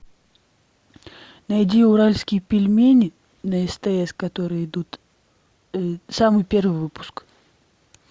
найди уральские пельмени на стс которые идут самый первый выпуск